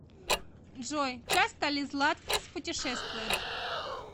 джой часто ли златкис путешествует